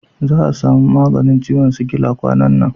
Za a samu maganin ciwon sikila kwanan nan.